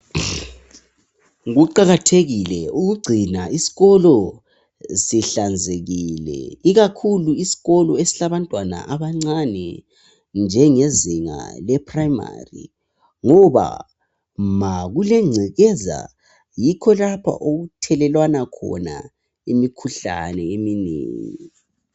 Kuqakathekile ukugcina isikolo sihlanzekile ikakhulu isikolo esilabantwana abancane njengezinga le purayimari ngoba ma kulengcekeza yikho lapha okuthelelwana khona imikhuhlane eminengi.